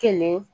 Kelen